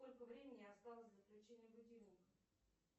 сколько времени осталось до включения будильника